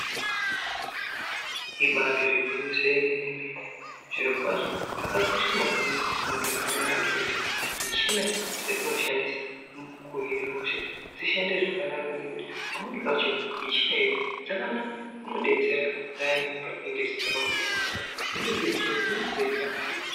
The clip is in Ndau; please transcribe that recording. Ibatori gwinyiso yemene mene zvirokwazvo zvakakosha maningi mundaramo yeantu kuti michina dzatinoshandisa mukuhina hosha dzishande zvakanaka ngekuti pamweni pacho michina idzi dzakanaka dzinodetsera payani patinenge tisingakwanisi kuhamba dzimweni dzemichina dzinenge dzeida mavhiri.